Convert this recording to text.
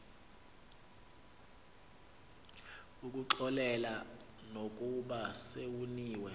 ukuxolela nokuba sewoniwe